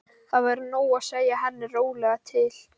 Það væri nóg að segja henni rólega til.